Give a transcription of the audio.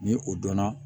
Ni o donna